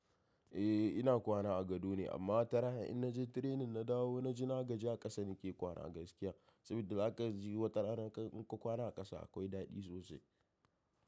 Eh ina kwana a gado ne amma wataran in na je tirenin na dawo na ji na gaji a ƙasa nake kwana gaskiya. Saboda zaka ji wata rana in ka kwana a ƙasa akwai daɗi sosai.